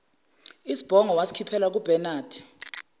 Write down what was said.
isibhongo wasikhiphela kubenade